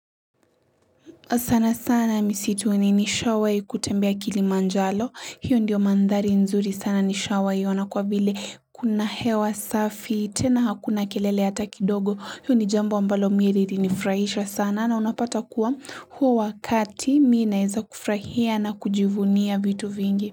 Sana sana misitu ni nishawai kutembea kilimanjalo, hiyo ndiyo mandhari nzuri sana nishawai wanakwa vile kuna hewa safi, tena hakuna kelele hata kidogo, hiyo ni jambo mbalo mimi lilinifrahisha sana na unapata kuwa huo wakati mimi naeza kufrahia na kujivunia vitu vingi.